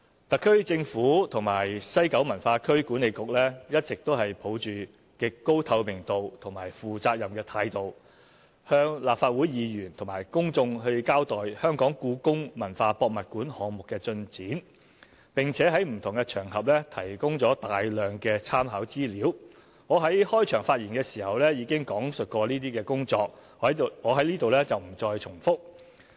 特區政府和西九文化區管理局一直抱着極高透明度和負責任的態度向立法會議員和公眾交代香港故宮文化博物館項目的進展，並且在不同場合提供了大量參考資料，我在開場發言時已講述有關工作，在此不再重複。